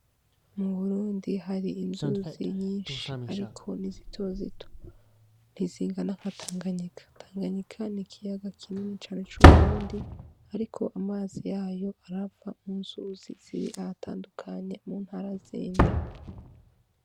Mu Burundi hari inzuzi nyinshi ariko ni zitozito ntizingana na Tanganyika. Tanganyika ni ikiyaga kinini cane c'uburundi ariko amazi yayo harihava munzuzi zitandukanye mu ntara zindi.